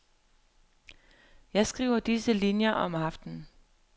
Jeg skriver disse linier om aftenen.